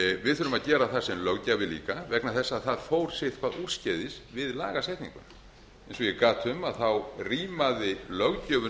við þurfum að gera það sem löggjafi líka vegna þess að það fór sitthvað úrskeiðis við lagasetninguna eins og ég gat um rímaði löggjöfin